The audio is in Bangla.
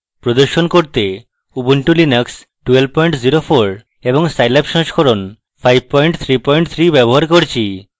প্রদর্শন করতে ubuntu linux 1204 এবং সাইল্যাব সংস্করণ 533 ব্যবহার করছি